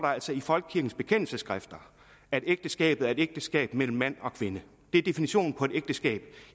i folkekirkens bekendelsesskrifter at ægteskabet er et ægteskab mellem mand og kvinde det er definitionen på et ægteskab